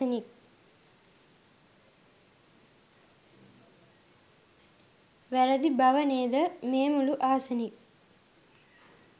වැරදි බව නේද මේ මුළු ආසනික්